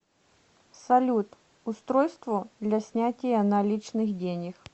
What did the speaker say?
салют устройство для снятия наличных денег